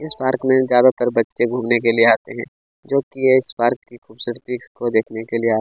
इस पार्क में ज्यादातर बच्चे घुमने के लिए आते है जोकि इस पार्क की ख़ूबसूरती को देखने के लिए आते हैं।